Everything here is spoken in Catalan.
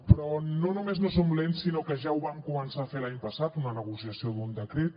però no només no som lents sinó que ja ho vam començar a fer l’any passat una negociació d’un decret